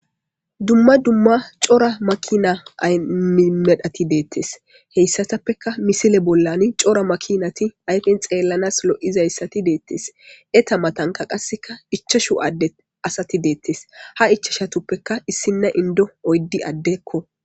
dumma dumma cora makina ymedhati deettes heyssatappeka misile bollani cora makinati ayfen xeellanas lo7izayssati deettes eta matanka qasseka ichashu adde asati deettes ha ichashatuppeka issinna indo oyddi addekko